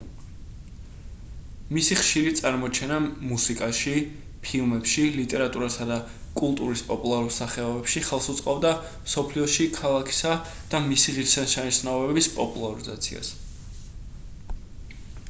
მისი ხშირი წარმოჩენა მუსიკაში ფილმებში ლიტერატურასა და კულტურის პოპულარულ სახეობებში ხელს უწყობდა მსოფლიოში ქალაქისა და მისი ღირშესანიშნაობების პოპულარიზაციას